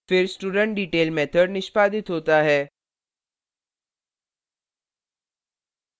फिर studentdetail method निष्पादित होता है